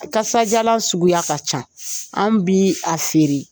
Kasadiyalan suguya ka ca an bi a feere